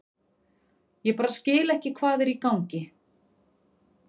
Ég bara skil ekki hvað er í gangi.